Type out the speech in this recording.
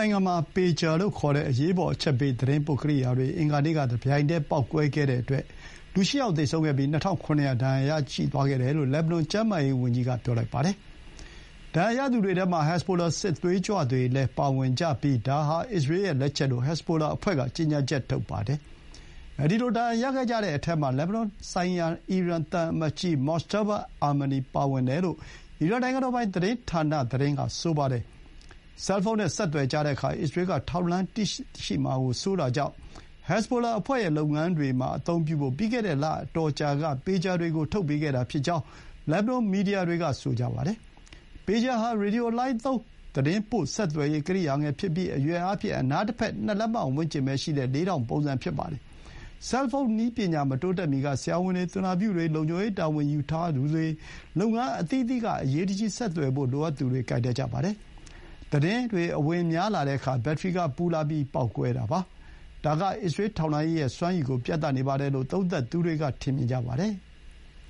ိုင်ငံမှာ ပေဂျာ လို့ခေါ်တဲ့ အရေးပေါ် အချက်ပေး သတင်းပို့ကိရိယာတွေ အင်္ဂါနေ့က တပြိုင်တည်းပေါက်ကွဲတဲ့အတွက် လူ ၈ ယောက်သေဆုံးပြီး၊ ၂,၇၀၀ ဒဏ်ရာရသွားခဲ့ကြတယ်လို့ လက်ဘနွန် ကျန်းမာရေးဝန်ကြီးကပြောလိုက်ပါတယ်။ ဒဏ်ရာရသူတွေထဲမှာ ဟက်ဇ်ဘိုလာ စစ်သွေးကြွတွေလည်း ပါဝင်ကြပြီး ဒါဟာ အစ္စရေးရဲ့ လက်ချက်လို့ ဟက်ဇ်ဘိုလာအဖွဲ့က ကြေညာချက် ထုတ်ပါတယ်။ အဲဒီလို ဒဏ်ရာရခဲ့ကြတဲ့အထဲမှာ လက်ဘနွန်ဆိုင်ရာ အီရန်သံအမတ်ကြီးMojtaba Amani ပါဝင်တယ်လို့ အီရန် နိုင်ငံတော်ပိုင် သတင်းဌာနသတင်းက ဆိုပါတယ်။ ဆဲလ်ဖုန်းနဲ့ ဆက်သွယ်ကြတဲ့အခါ အစ္စရေးက ထောက်လှမ်းသိရှိမှာစိုးတာကြောင့် ဟက်ဇ်ဘိုလာအဖွဲ့ရဲ့လုပ်ငန်းတွေမှာအသုံးပြုဖို့ ပြီးခဲ့တဲ့ လအတော်ကြာက ပေဂျာတွေကို ထုတ်ပေးခဲ့တာဖြစ်ကြောင်း လက်ဘနွန်မီဒီယာတွေက ဆိုပါတယ်။ ‘ပေဂျာ’ ဟာ ရေဒီယိုလှိုင်းသုံးသတင်းပို့ ဆက်သွယ်ရေးကိရိယာငယ်ဖြစ်ပြီး အရွယ်အားဖြင့် အနားတဘက် ၂ လက္မဝန်းကျင်ပဲရှိတဲ့ လေးထောင့်ပုံစံဖြစ်ပါတယ်။ ဆဲလ်ဖုန်းနည်းပညာ မတိုးတက်မီက ဆရာဝန်တွေ၊ သူနာပြုတွေ၊ လုံခြုံရေးတာဝန် ယူထားသူတွေ၊ လုပ်ငန်းအသီးသီးက အရေးတကြီး ဆက်သွယ်ဖို့ လိုအပ်သူတွေ ကိုင်တတ်ကြပါတယ်။ ဒါပေမဲ့ ဆိုင်ရာ ကွန်ယက်ပေါ်လိုက်ပြီး အသုံးပြုတဲ့ ရေဒီယိုလှိုင်းပမာဏ မတူတတ်ကြပါဘူး။ သတင်းအဝင်များတဲ့အခါ ဘက်ထရီကပူလာပြီး ပေါက်ကွဲတာပါ။ ဒါက‘အစ္စရေးထောက်လှမ်းရေးစွမ်းရည်ကို ပြပါတယ်’ လို့ သုံးသပ်သူတွေက ပြောကြပါတယ်။